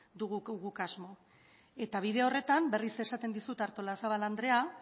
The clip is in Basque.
dugu guk asmo eta bide horretan berriz esaten dizut artolazabal andrea